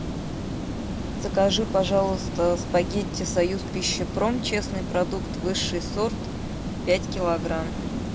закажи пожалуйста спагетти союзпищепром честный продукт высший сорт пять килограмм